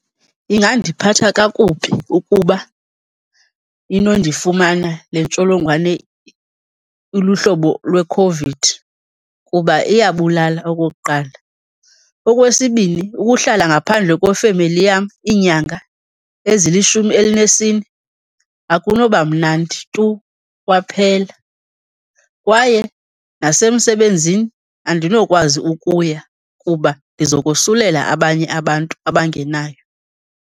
Ingandiphatha kakubi ukuba inondifumana le ntsholongwane iluhlobo lweCOVID kuba iyabulala okokuqala. Okwesibini, ukuhlala ngaphandle kwefemeli yam iinyanga ezilishumi elinesine, akunoba mnandi tu kwaphela. Kwaye nasemsebenzini andinokwazi ukuya kuba ndizokosulela abanye abantu abangenayo.